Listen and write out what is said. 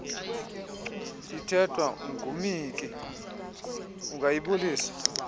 ithethwa ngumhinki ungayibulisa